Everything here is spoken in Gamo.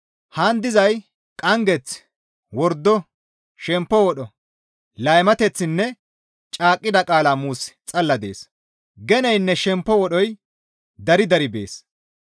Haan dizay qanggeth, wordo, shemppo wodho, laymateththinne caaqqida qaala muusi xalla dees. Geneynne shemppo wodhoy dari dari bees.